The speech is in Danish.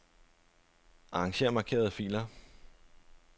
Arranger markerede filer.